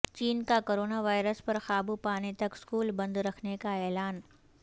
چین کا corona virus پر قابو پانے تک سکول بند رکھنے کا اعلان